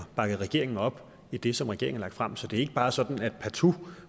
bakket regeringen op i det som regeringen har lagt frem så det er ikke bare sådan at vi partout